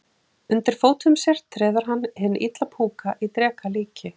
Undir fótum sér treður hann hinn illa púka í dreka líki.